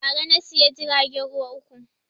Ba ra na siya jiragen ruwa uku